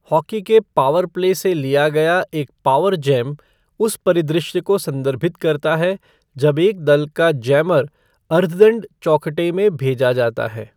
Hockey के power play से लिया गया एक पॉवर जैम उस परिदृश्य को संदर्भित करता है जब एक दल का जैमर अर्धदंड चौखटा में भेजा जाता है।